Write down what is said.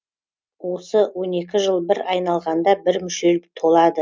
осы он екі жыл бір айналғанда бір мүшел толады